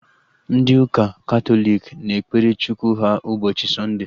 Ndị ụka Katọlik na-ekpere Chukwu ha ụbọchị Sọnde